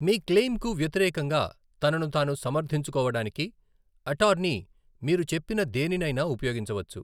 మీ క్లెయింకు వ్యతిరేకంగా తనను తాను సమర్థించుకోవడానికి అటార్నీ మీరు చెప్పిన దేనినైనా ఉపయోగించవచ్చు.